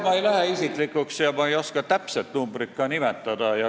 Ma ei lähe isiklikuks ja ma ei oska ka täpset numbrit nimetada.